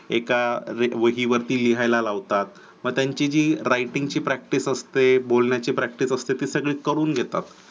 एका वहीवरती लिहायला लावतात व त्यांची जी writing ची practice असते बोलण्याची practice असते ते करून घेतात.